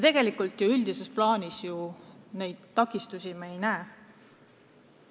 Üldises plaanis me neid takistusi ju ei näe.